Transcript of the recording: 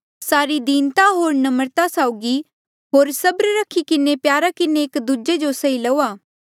सारी दीनता होर नम्रता साउगी होर सबर रखी किन्हें प्यारा किन्हें एक दूजे जो सही लो